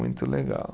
Muito legal.